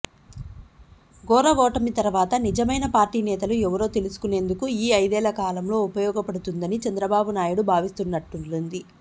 ఘోర ఓటమి తర్వాత నిజమైన పార్టీ నేతలు ఎవరో తెలుసుకునేందుకు ఈ ఐదేళ్ల కాలంలో ఉపయోగపడుతుందని చంద్రబాబునాయుడు భావిస్తున్నట్లుంది